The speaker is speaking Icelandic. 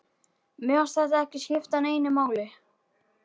Mér fannst þetta ekki skipta neinu máli.